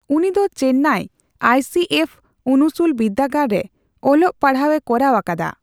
ᱩᱱᱤᱫᱚ Chennai I C F ᱩᱱᱩᱥᱩᱞ ᱵᱤᱨᱫᱟᱹᱜᱟᱲ ᱨᱮ ᱚᱞᱚᱜ ᱯᱟᱲᱦᱟᱣᱮ ᱠᱚᱨᱟᱣ ᱟᱠᱟᱫᱟ ᱾